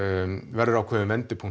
verður ákveðinn vendipunktur